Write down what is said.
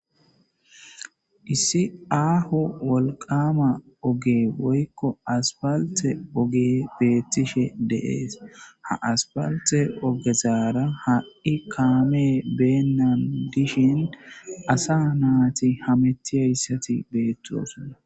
Isssi aho woqama ogge de'ikko asipaltte ogge bettishe de'es ha asipaltte oggetara ha'i kame benan de'ishen asa nayti hametiyaysata betosona.